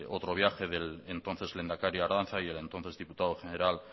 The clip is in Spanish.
otro viaje del entonces lehendakari ardanza y el entonces diputado general